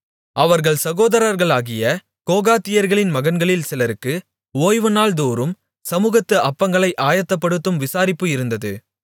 அவர்கள் சகோதரர்களாகிய கோகாத்தியர்களின் மகன்களில் சிலருக்கு ஓய்வுநாள்தோறும் சமுகத்து அப்பங்களை ஆயத்தப்படுத்தும் விசாரிப்பு இருந்தது